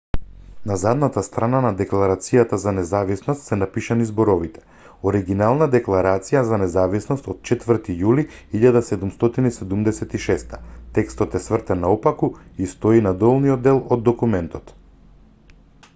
на задната страна на декларацијата за независност се напишани зборовите оригинална декларација за независност од 4 јули 1776 текстот е свртен наопаку и стои на долниот дел од документот